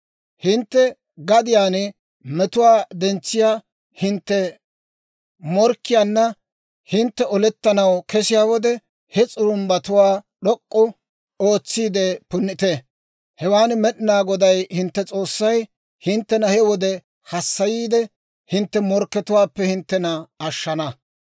«Hintte gadiyaan metuwaa dentsiyaa hintte morkkiyaanna hintte olettanaw kesiyaa wode, he s'urumbbatuwaa d'ok'k'u ootsiide punnite. Hewaan Med'inaa Goday hintte S'oossay hinttena he wode hassayiide, hintte morkkiyaappe hinttena ashshana.